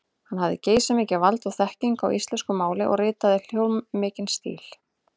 Hann hafði geysimikið vald og þekkingu á íslensku máli og ritaði hljómmikinn stíl.